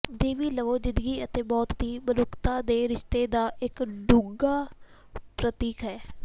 ਦੇਵੀ ਲਵੋ ਜ਼ਿੰਦਗੀ ਅਤੇ ਮੌਤ ਦੀ ਮਨੁੱਖਤਾ ਦੇ ਰਿਸ਼ਤੇ ਦਾ ਇੱਕ ਡੂੰਘਾ ਪ੍ਰਤੀਕ ਹੈ